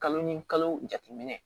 Kalo ni kalo jateminɛ